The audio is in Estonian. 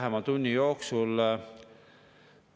Räägime siin selgelt ja ausalt Eestimaa inimestele.